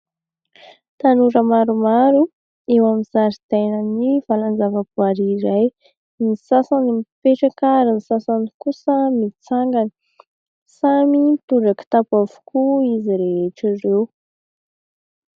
Tanora maromaro eo amin'ny zaridainan'ny vala an-javaboary iray, ny sasany mipetraka ary ny sasany kosa mitsangana. Samy mitondra kitapo avokoa izy rehetra ireo.